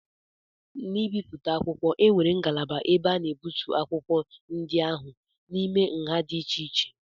N'ibipụta akwụkwọ, e nwere ngalaba ebe a na-egbutu akwụkwọ ndị ahụ n'ime nha di iche-iche